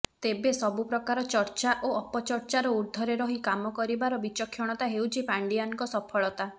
ତେବେ ସବୁ ପ୍ରକାର ଚର୍ଚ୍ଚା ଓ ଅପଚର୍ଚ୍ଚାର ଉର୍ଦ୍ଧ୍ବରେ ରହି କାମ କରିବାର ବିଚକ୍ଷଣତା ହେଉଛି ପାଣ୍ଡିଆନଙ୍କ ସଫଳତା